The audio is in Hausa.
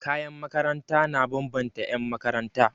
Kayan makaranta na bambanta 'yanmakaranta.